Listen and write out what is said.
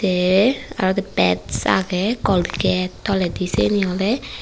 ye aro udi peds agey colgate toledi siyeni oley.